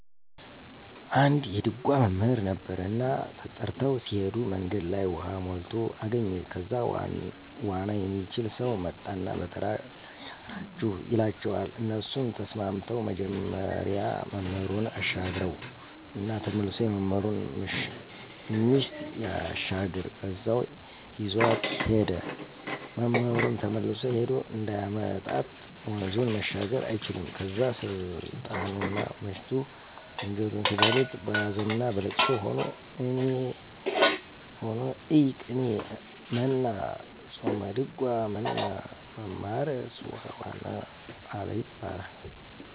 አንድ የድጓ መምህር ነበረ እና ተጠርተው ሲሄዱ መንገድ ላይ ውሃ ሞልቶ አገኙት ከዛ ዋና የሚችል ሰው መጣና በተራ ላሻግራቹ ይላቸዋል እነሱም ተስማምተው መጀመሪያ መምህሩን አሻገረው እና ተመሶ የመምህሩን ምሽት ሳያሻግር በዛው ይዟት ሄደ፤ መምህሩም ተመልሶ ሄዶ እንዳያመጣት ወንዙን መሻገር አይችልም ከዛ ስልጣኑና ምሽቱ አንጀቱን ሲበሉት በሀዘንና በልቅሶ ሆኖ እይ ቅኔ መና ጾመድጓ መና መማርስ ውሃ ዋና አለ ይባላል።